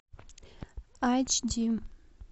айч ди